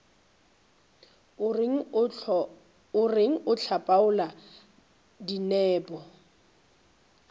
o reng o hlapaola dinepo